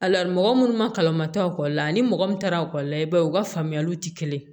A la mɔgɔ minnu ma kalan ma taa ekɔli la ani mɔgɔ min taara ekɔli la i b'a ye u ka faamuyaliw tɛ kelen ye